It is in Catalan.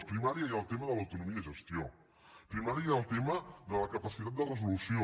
a primària hi ha el tema de l’autonomia de gestió a primària hi ha el tema de la capacitat de resolució